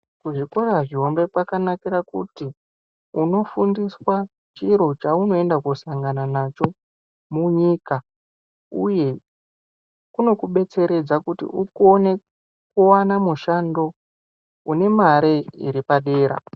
Ku zvikora zvihombe kwakanakira kuti uno fundiswa chiro chauno enda ko sangana nacho mu nyika uye kunoku detseredza kuti ukone kuwana mushando une mare iri padera.